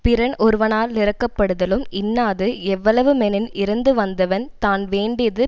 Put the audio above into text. பிறன் ஒருவனா லிரக்கப்படுதலும் இன்னாது எவ்வளவு மெனின் இரந்து வந்தவன் தான் வேண்டியது